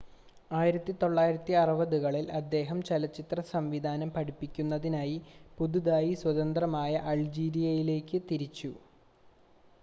1960-കളിൽ അദ്ദേഹം ചലച്ചിത്ര സംവിധാനം പഠിപ്പിക്കുന്നതിനായി പുതുതായി സ്വതന്ത്രമായ അൾജീരിയയിലേക്ക് തിരിച്ചു